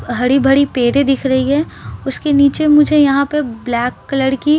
हडी भड़ी पेडे दिख रही है उसके नीचे मुझे यहाँ पर ब्लैक कलर की --